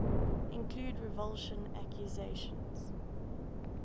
include revulsion accusations